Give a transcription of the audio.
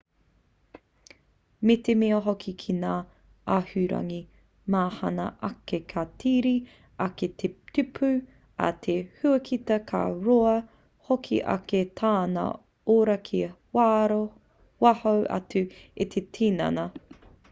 me te mea hoki ki ngā āhuarangi mahana ake ka tere ake te tupu a te huakita ka roa hoki ake tana ora ki waho atu i te tinana